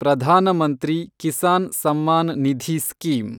Pradhan Mantri Kisan Samman Nidhi scheme